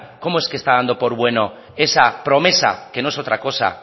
cómo es que está dando por bueno esa promesa que no es otra cosa